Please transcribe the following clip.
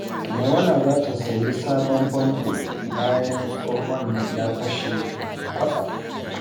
Maimuna za ta sayi sabon famfo bayan tsohon ya fashe kwatsam.